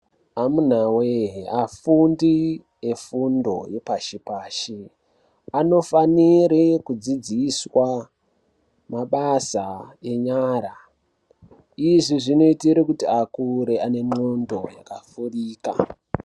Amunawee afundi efundo yepashi pashi, anofanire kudzidziswa mabasa enyara. Izvi zvinoitire kuti akure ane ndxondo yakavhurika.